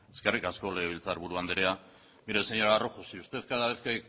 eskerrik asko legebiltzaburu andrea mire señora rojo si usted cada vez que